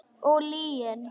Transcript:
Og lygin.